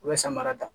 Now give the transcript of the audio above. U bɛ samara ta